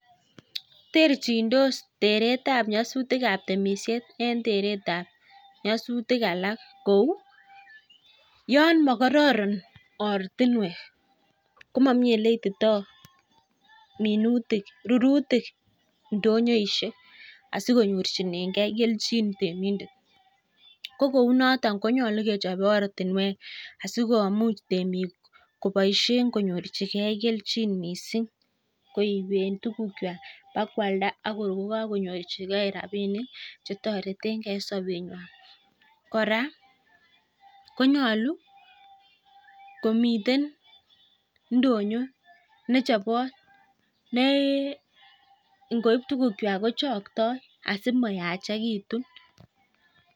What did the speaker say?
Terchindor teretab nyasutikab temishet en teretab nyasutik alak. Kou yon makororon ortinwek komomi oleititoi rurutik ndoyoishek asi konyorchingei keljin temindet. ko kou notok ko nyolu kechop ortinwek asikomuch temik koboishe konyorchigei keljin mising koiben tukukwai ak koaldaakoi kopkakonyorchikei rabinik sikotoretengei eng sobengwai. Kora konyolu komiten ndonyo nechobot nengoip tukukwai kochoktoi asimayachekitu.